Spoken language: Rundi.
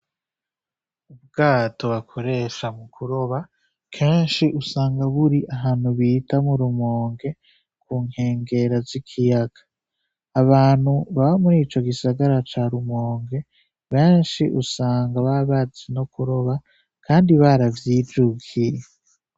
Ubwato bakoresha mukuroba kenshi usanga buri ahantu bita murumonge kunkengera zikiyaga, abantu baba muri ico gisagara ca rumonge benshi usanga baba bazi no kuroba kandi baravyijukiye